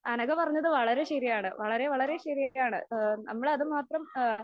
അനഘ പറഞ്ഞത് വളരെ ശരിയാണ് വളരെ വളരെ ശരിയാണ്. ആ നമ്മൾ അത് മാത്രം